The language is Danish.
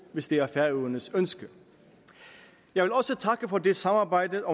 hvis det er færøernes ønske jeg vil også takke for det samarbejde